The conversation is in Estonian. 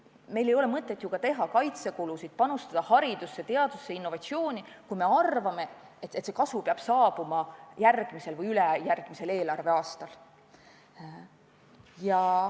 Meil ei oleks ju mõtet ka teha kaitsekulutusi, panustada haridusse, teadusesse, innovatsiooni, kui me arvaksime, et kasu peab saabuma järgmisel või ülejärgmisel eelarveaastal.